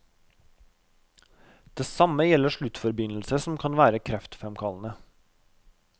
Det samme gjelder sluttforbindelser som kan være kreftfremkallende.